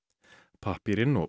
pappírinn og